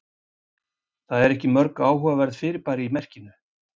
Það eru ekki mörg áhugaverð fyrirbæri í merkinu.